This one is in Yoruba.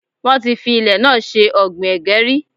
Wọ́n ti fi ilẹ̀ náà ṣe ọ̀gbìn ẹ̀gẹ́ rí.